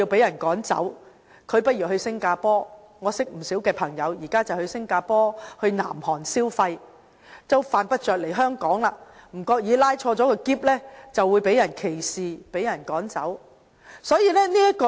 我認識的不少朋友，現在會到新加坡和南韓消費，犯不着來香港，因為恐怕拉着行李箱會被人歧視、趕走。